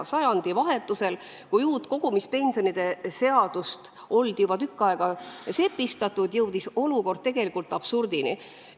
Sajandivahetusel, kui uut kogumispensionide seadust oldi juba tükk aega sepistatud, jõudis olukord absurdini.